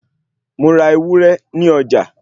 Mo ra ewúré ní ọjà